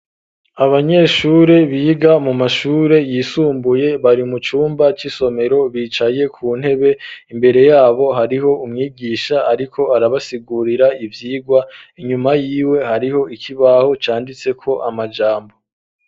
Abanyeshure biga mu mashure yisumbuye ,bari mu cumba c'isomero bicaye ku ntebe, imbere yabo hariho umwigisha ariko arabasigurira ivyigwa, inyuma yiwe hariho ikibaho canditse ko amajambo.